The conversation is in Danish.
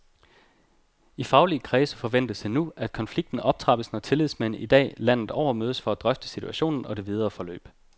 I faglige kredse forventes det nu, at konflikten optrappes, når tillidsmænd i dag landet over mødes for at drøfte situationen og det videre forløb.